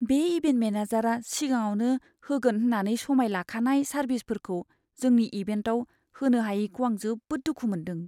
बे इभेन्ट मेनेजारआ सिगाङावनो होगोन होन्नानै समाय लाखानाय सारभिसफोरखौ जोंनि इभेन्टआव होनो हायैखौ आं जोबोद दुखु मोनदों।